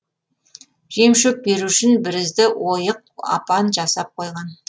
жем шөп беру үшін бірізді ойық апан жасап қойған